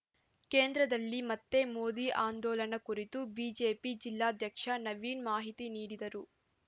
ಕೇಂದ್ರದಲ್ಲಿ ಮತ್ತೆ ಮೋದಿ ಆಂದೋಲನ ಕುರಿತು ಬಿಜೆಪಿ ಜಿಲ್ಲಾಧ್ಯಕ್ಷ ನವೀನ್‌ ಮಾಹಿತಿ ನೀಡಿದರು